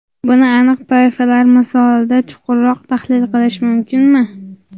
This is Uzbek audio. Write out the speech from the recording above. Buni aniq toifalar misolida chuqurroq tahlil qilish mumkinmi?